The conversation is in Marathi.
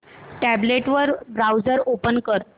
टॅब्लेट वर ब्राऊझर ओपन कर